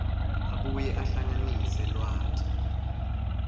abuye ahlanganise lwati